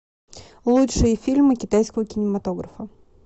лучшие фильмы китайского кинематографа